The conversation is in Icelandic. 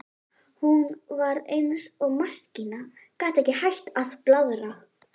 Hún var eins og maskína, gat ekki hætt að blaðra.